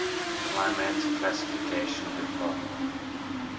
climate classification dfa